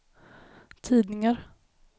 tidningar